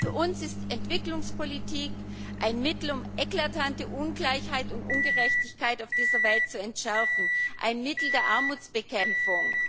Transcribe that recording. Für uns ist die Entwicklungspolitik ein Mittel, um eklatante Ungleichheit und Ungerechtigkeit auf dieser Welt zu entschärfen ein Mittel der Armutsbekämpfung.